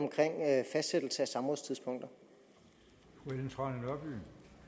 også for